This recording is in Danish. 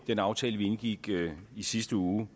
den aftale vi indgik i sidste uge